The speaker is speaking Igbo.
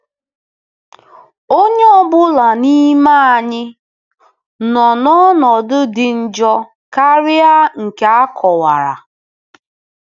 Onye ọ bụla n'ime anyị nọ n'ọnọdụ dị njọ karịa nke a kọwara.